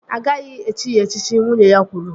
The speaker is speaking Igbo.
Agaghị echi ya echichi! Nwunye ya kwuru